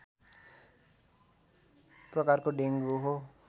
प्रकारको डेङ्गु हो